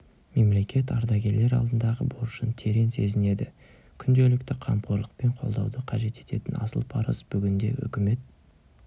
мемлекет ардагерлер алдындағы борышын терең сезінеді күнделікті қамқорлық пен қолдауды қажет ететін асыл парыз бүгінде үкімет